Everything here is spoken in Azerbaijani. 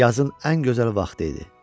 Yazın ən gözəl vaxtı idi.